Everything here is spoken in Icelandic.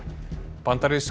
bandarísk